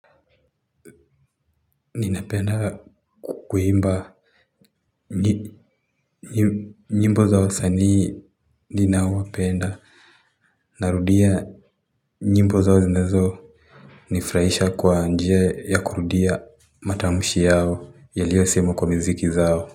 Ninapenda kuimba. Nyimbo za wasanii ninao wapenda. Narudia nyimbo zao zinazo nifraisha kwa njia ya kurudia matamshi yao yaliyo semwa kwa miziki zao.